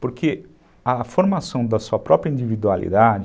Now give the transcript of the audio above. Porque a formação da sua própria individualidade